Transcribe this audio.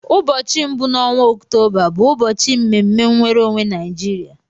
Ụbọchị mbụ n'ọnwa Ọktoba bụ ụbọchị mme mme nwere onwe Naijiria.